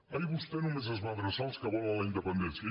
ahir vostè només es va adreçar als que volen la independència